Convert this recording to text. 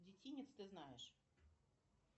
детинец ты знаешь